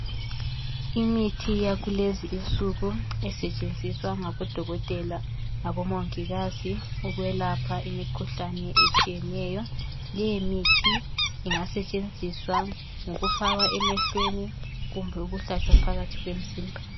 Imithi yakulezi insuku esetshenziswa ngabodokotela labomongikazi ukwelapha imikhuhlane etshiyeneyo leyo mithi ingasetshenziswa ngokufakwa emehlweni kumbe ukuhlatshwa phakathi kemzimba